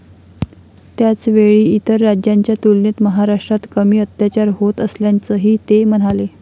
त्याचवेळी इतर राज्यांच्या तुलनेत महाराष्ट्रात कमी अत्याचार होत असल्याचंही ते म्हणाले.